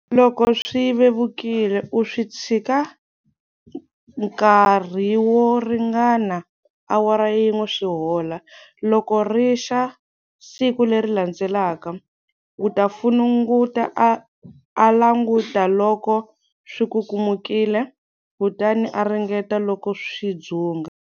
Loko swi vevukile u swi tshika nkarhi wo ringana awara yin'we swi hola. Loko ri xa siku leri landzelaka, u ta funungula a languta loko swi kukumukile, kutani a ringeta loko swi dzunga.